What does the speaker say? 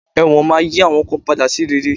Ẹ̀wọ̀n máa yí àwọn kan padà sí rere